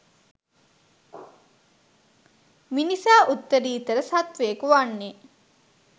මිනිසා උත්තරීතර සත්ත්වයකු වන්නේ